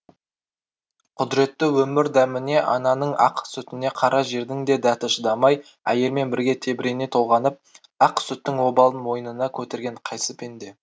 құдіретті өмір дәміне ананың ақ сүтіне қара жердің де дәті шыдамай әйелмен бірге тебірене толғанып ақ сүттің обалын мойнына көтерген қайсы пенде